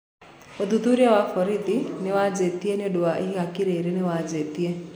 ũthûthurĩa wa borithi niwaanjitie ñĩũndũ wa ihaniki riri niwanjitie.